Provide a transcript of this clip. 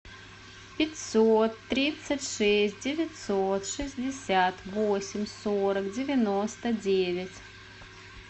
пятьсот тридцать шесть девятьсот шестьдесят восемь сорок девяносто девять